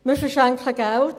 Wir verschenken Geld.